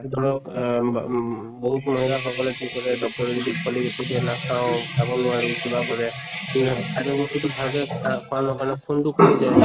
ধৰক আহ বা উম বহুত মহিলা সকলেকি কৰে doctor য়ে যদি folic acid দিয়ে নাখাওঁ, খাব নোৱাৰো কিবা কৰে এটা বস্তুটো ভাল কে খা খোৱা নকৰিলে খুন টো কমি যায়